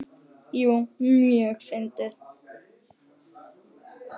Jú, mjög fyndið.